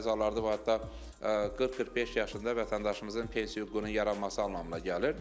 Bəzi hallarda bu hətta 40-45 yaşında vətəndaşımızın pensiya hüququnun yaranması anlamına gəlir.